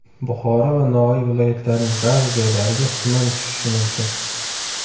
Buxoro va Navoiy viloyatlarining ba’zi joylariga tuman tushishi mumkin.